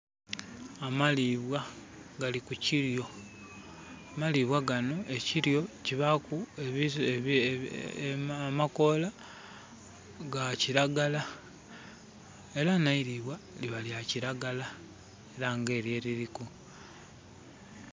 Amalibwa gali ku kilyo. Amalibwa gano, ekilyo kibaku amakoola ga kilagala era neilibwa liba lya kilagala era nga elyo eriliku.